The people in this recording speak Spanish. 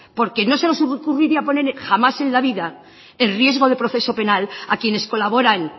porque no se nos ocurriría poner jamás en la vida el riesgo de proceso penal a quienes colaboran